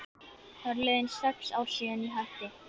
Það eru liðin sex ár síðan ég hætti.